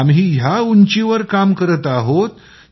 आम्ही या उंचीवर काम करत आहोत